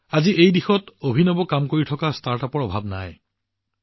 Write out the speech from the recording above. আজি এই দিশত অভিনৱ কাম কৰি থকা ষ্টাৰ্টআপৰ কোনো অভাৱ নাই